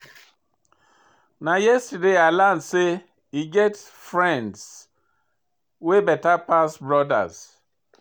Na yesterday I learn sey e get friends wey beta pass brodas.